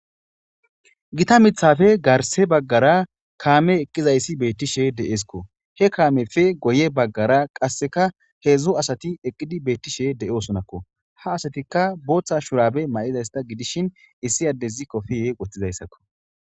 Gita miththappe garse baggara kaame eqqizayssi beetishe de'esko he kaameppe guye baggara qaseka hedzu asati eqqidi beetishe de'osonako ha asatika bootha shurabe mayidaysata gidishin issi addezi kopiye wothidayssako.